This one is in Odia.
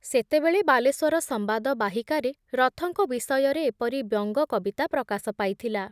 ସେତେବେଳେ ବାଲେଶ୍ବର ସମ୍ବାଦ ବାହିକାରେ ରଥଙ୍କ ବିଷୟରେ ଏପରି ବ୍ୟଙ୍ଗ କବିତା ପ୍ରକାଶ ପାଇଥିଲା